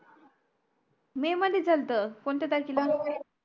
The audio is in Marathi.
मे मध्ये झाल्त कोणत्या तारखेला